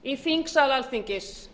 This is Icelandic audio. í þingsal alþingis